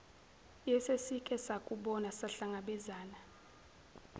yesesike sakubona sahlangabezana